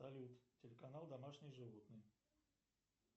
салют телеканал домашние животные